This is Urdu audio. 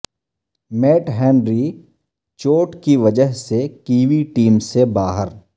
میٹ ہنری چوٹ کی وجہ سے کیوی ٹیم سے باہر